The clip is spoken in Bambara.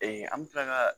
an bɛ kila ka